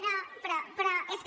no però és que